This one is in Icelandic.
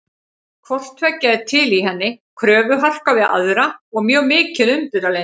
Hvort tveggja er til í henni, kröfuharka við aðra og mjög mikið umburðarlyndi.